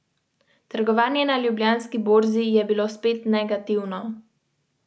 Trenutno sem vpet v dva projekta za dva popolnoma različna tipa strank.